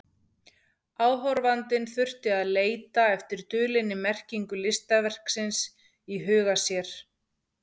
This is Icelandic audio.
Áhorfandinn þurfti að leita eftir dulinni merkingu listaverksins í huga sér.